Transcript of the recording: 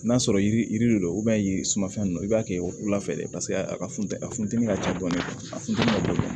N'a sɔrɔ yiri yiri de do yiri sumafɛn ninnu i b'a kɛ wula fɛ de paseke a ka funteni a funtɛni ka ca dɔɔni a funtɛnni ka bon